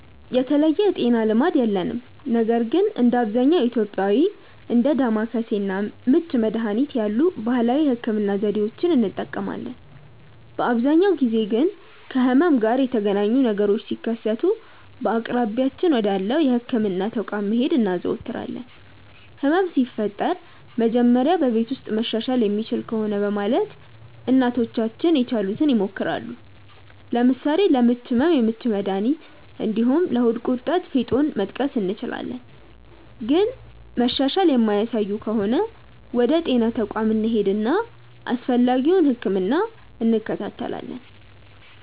የተለየ የጤና ልማድ የለንም ነገር ግን እንደ አብዛኛው ኢትዮጵያዊ እንደ ዳማከሴ እና ምች መድሀኒት ያሉ ባህላዊ የህክምና ዘዴዎችን እንጠቀማለን። በአብዛኛው ጊዜ ግን ከህመም ጋር የተገናኘ ነገሮች ሲከሰቱ በአቅራቢያችን ወዳለው የህክምና ተቋም መሄድ እናዘወትራለን። ህመም ሲፈጠር መጀመሪያ በቤት ውስጥ መሻሻል የሚችል ከሆነ በማለት እናቶቻችን የቻሉትን ይሞክራሉ። ለምሳሌ ለምች ህመም የምች መድሀኒት እንዲሁም ለሆድ ቁርጠት ፌጦን መጥቀስ እንችላለን። ግን መሻሻል የማያሳዩ ከሆነ ወደ ጤና ተቋም እንሄድና አስፈላጊውን ህክምና እንከታተላለን።